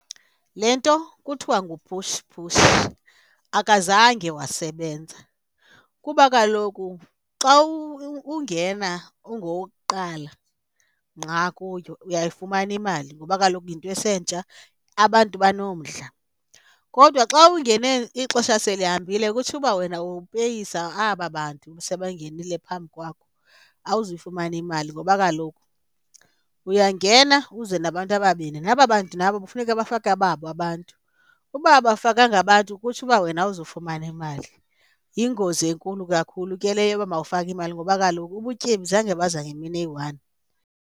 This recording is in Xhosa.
Le nto kuthiwa ngu-push push akazange wasebenza kuba kaloku xa ungena ungowokuqala ngqa kuyo uyayifumana imali ngoba kaloku yinto esentsha abantu banomdla. Kodwa xa ungene ixesha selihambile kutsho uba wena upeyisa aba bantu sebangenile phambi kwakho, awuzuyifumana imali ngoba kaloku uyangena uze nabantu ababini naba bantu nabo kufuneka bafake ababo abantu, uba abafakanga abantu kutsho uba wena awuzufumana imali. Yingozi enkulu kakhulu ke leyo yoba mawufake imali ngoba kaloku ubutyebi zange baza ngemini eyi-one.